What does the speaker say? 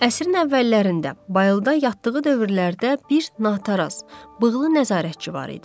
Əsrin əvvəllərində bayılda yatdığı dövrlərdə bir nataraz, bığlı nəzarətçi var idi.